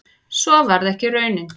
Svo varð ekki raunin